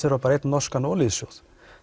er bara einn norskur olíusjóður